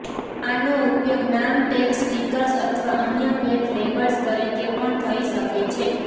આનો ઉપયોગ નામ ટેગ સ્ટિકર્સ અથવા અન્ય ભેટ લેબલ્સ તરીકે પણ થઈ શકે છે